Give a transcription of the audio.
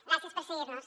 gràcies per seguir·nos